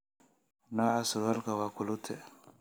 nooca surwaalka waa culotte